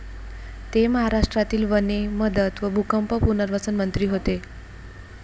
ते महाराष्ट्रातील वने, मदत व भूकंप पुनर्वसन मंत्री होते.